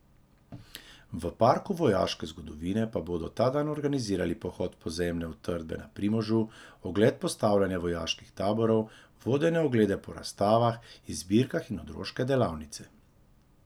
V Parku vojaške zgodovine pa bodo ta dan organizirali pohod v podzemne utrdbe na Primožu, ogled postavljanja vojaških taborov, vodene oglede po razstavah in zbirkah in otroške delavnice.